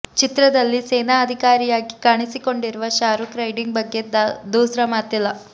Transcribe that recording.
ಚಿತ್ರದಲ್ಲಿ ಸೇನಾ ಅಧಿಕಾರಿಯಾಗಿ ಕಾಣಿಸಿಕೊಂಡಿರುವ ಶಾರೂಕ್ ರೈಡಿಂಗ್ ಬಗ್ಗೆ ದೂಸ್ರಾ ಮಾತಿಲ್ಲ